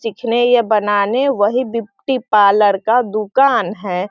चीखने ये बनाने वही ब्यूटी पार्लर का दुकान है।